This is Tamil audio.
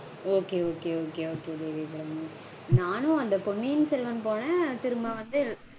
Okay okay okay Devi Abirami. நானும் அந்த பொன்னியின் செல்வன் போனேன். திரும்ப வந்து